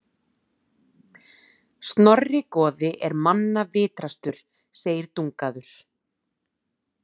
Snorri goði er manna vitrastur, segir Dungaður.